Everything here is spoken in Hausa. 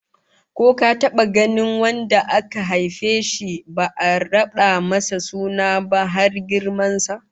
Ko ka taba ganin wanda aka haife shi ba'a rada masa suna ba, har girman sa?